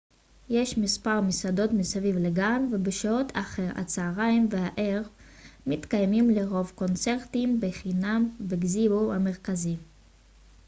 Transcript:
יש מספר מסעדות מסביב לגן ובשעות אחר הצהריים והערב מתקיימים לרוב קונצרטים בחינם בגזיבו המרכזי